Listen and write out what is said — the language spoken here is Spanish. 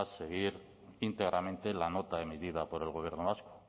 seguir íntegramente la nota emitida por el gobierno vasco